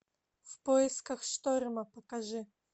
в поисках шторма покажи